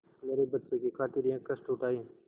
मेरे बच्चों की खातिर यह कष्ट उठायें